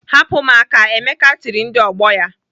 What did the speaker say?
"Hapụ m aka!" Emeka tiri ndị ọgbọ ya.